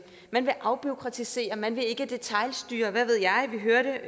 man vil afbureaukratisere man vil ikke detailstyre hvad ved jeg det hørte